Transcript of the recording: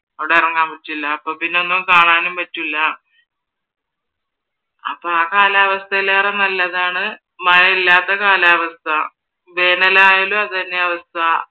അവിടെ ഇറങ്ങാൻ പറ്റില്ല അപ്പൊ പിന്നെ ഒന്നും കാണാനും പറ്റില്ല. അപ്പൊ കാലാവസ്ഥയിലേറെ നല്ലതാണു മഴയില്ലാത്ത കാലാവസ്ഥ വേനലായാലും അതുതന്നെയാ അവസ്ഥ